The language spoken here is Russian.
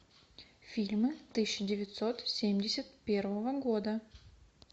фильмы тысяча девятьсот семьдесят первого года